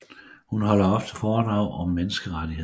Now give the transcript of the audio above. Hun holder ofte foredrag om menneskerettigheder